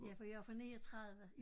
Ja for jeg jo fra 39